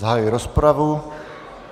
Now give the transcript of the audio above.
Zahajuji rozpravu.